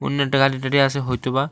গাড়ি টারি হয়তো বা--